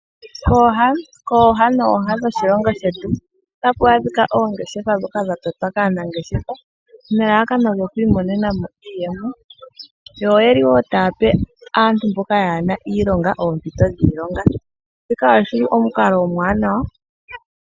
Kooha nooha dhoshilongo shetu otaku oongeshefa ndhoka dha totwa kaanangeshefa nelelekano lyoku imonenamo iiyemo yo oyeli taya pe aantu mboka kayena iilonga oompito dhiilonga shika oshili omukalo omuwanawa.